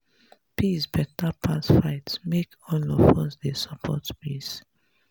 peace beta pass fight make all of us dey support peace.